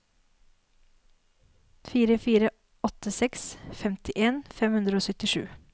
fire fire åtte seks femtien fem hundre og syttisju